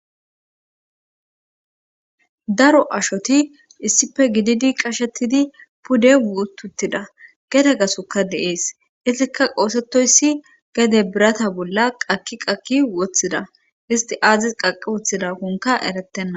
daro ashoti issife gididi qashetidi pude wututtida gede gasoka deees istika qoosetoyssi gede birata bolla qaki qakki woththida isti aazis qaqi woththidakonka erettenna